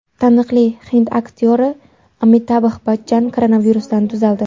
Taniqli hind aktyori Amitabh Bachchan koronavirusdan tuzaldi.